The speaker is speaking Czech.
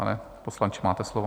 Pane poslanče, máte slovo.